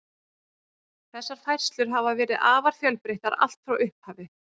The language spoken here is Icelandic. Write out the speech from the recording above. Þessar færslur hafa verið afar fjölbreyttar allt frá upphafi.